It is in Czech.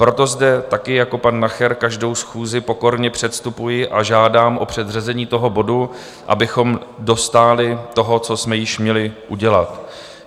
Proto zde také jako pan Nacher každou schůzi pokorně předstupuji a žádám o předřazení toho bodu, abychom dostáli toho, co jsme již měli udělat.